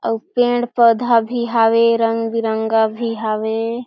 अउ पेड़-पौधा भी हावे रंग-बिरंगा भी हावे ।